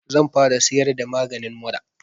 Zan fara siyar da maganin mura